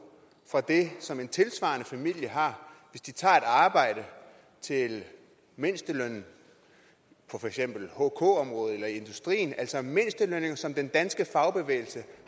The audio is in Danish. fra det som en tilsvarende familie har hvis de tager et arbejde til mindstelønnen på for eksempel hk området eller i industrien altså mindstelønninger som den danske fagbevægelse